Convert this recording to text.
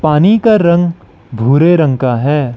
पानी का रंग भूरे रंग का है।